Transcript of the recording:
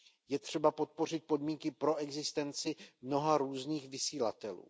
Je třeba podpořit podmínky pro existenci mnoha různých vysílatelů.